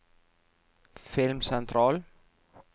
filmsentral